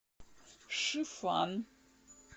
шифан